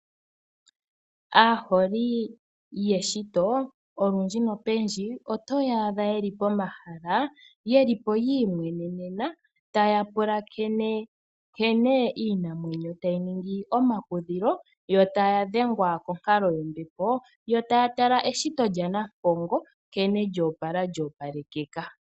Aaholi yeshito, olundji otoya adha yeli pomahala yiimwenenena, tya pulakene nkene iinamwenyo tayi ningi omakudhilo, yo taya dhengwa konkalo yombepo, oshowo okutala eshito lyaNampongo, nkene lyo opala.